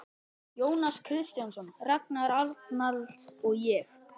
Jónas Kristjánsson, Ragnar Arnalds og ég.